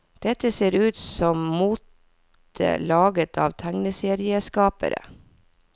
Dette ser ut som mote laget av tegneserieskapere.